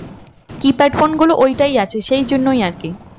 Keypad phone গুলো ওইটাই আছে সেই জন্যই আর কি